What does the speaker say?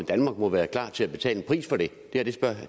må være klar til at betale en pris for det